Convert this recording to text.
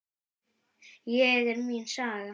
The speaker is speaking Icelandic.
Hér er mín saga.